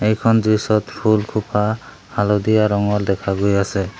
এইখন দৃশ্যত ফুলসোপা হালধীয়া ৰঙৰ দেখা গৈ আছে।